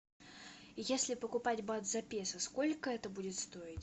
если покупать бат за песо сколько это будет стоить